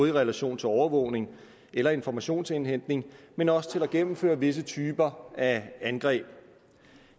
i relation til overvågning eller informationsindhentning men også til at gennemføre visse typer af angreb